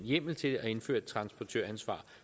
hjemmel til at indføre et transportøransvar